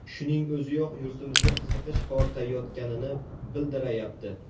Shuning o‘ziyoq yurtimizga qiziqish ortayotganini bildirayapti.